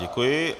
Děkuji.